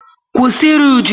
Kwụsị iru uju.